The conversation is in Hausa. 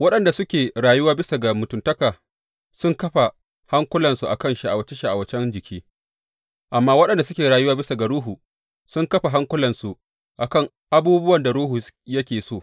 Waɗanda suke rayuwa bisa ga mutuntaka sun kafa hankulansu a kan sha’awace shawa’acen jiki; amma waɗanda suke rayuwa bisa ga Ruhu sun kafa hankulansu a kan abubuwan da Ruhu yake so.